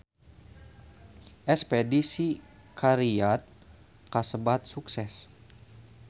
Espedisi ka Riyadh kasebat sukses